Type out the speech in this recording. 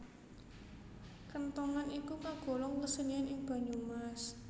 Kenthongan iku kagolong kesenian ing Banyumas